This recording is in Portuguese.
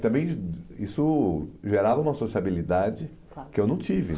Também isso gerava uma sociabilidade que eu não tive